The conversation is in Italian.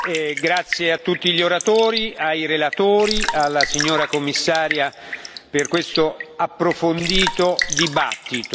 Grazie a tutti gli oratori, ai relatori, alla signora Commissaria per questo approfondito dibattito.